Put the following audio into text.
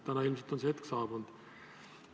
Täna on ilmselt see hetk saabunud.